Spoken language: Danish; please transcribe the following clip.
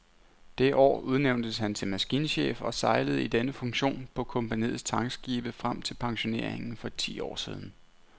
Det år udnævntes han til maskinchef og sejlede i denne funktion på kompagniets tankskibe frem til pensioneringen for ti år siden.